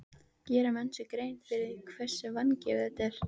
Gera menn sér grein fyrir því hversu vangefið þetta er?